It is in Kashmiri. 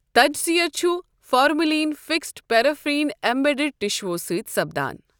تجزِیہ چھٗ فارملین فکسڈ، پیرافین ایمبیڈڈ ٹشوہو٘ سٕتۍ سپدان ۔